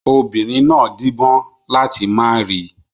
Obìnrin náà díbọ́n láti má rí i.